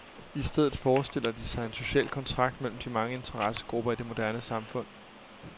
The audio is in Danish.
I stedet forestiller de sig en social kontrakt mellem de mange interessegrupper i det moderne samfund.